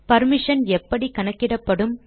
permission எப்படி கணக்கிடப்படும்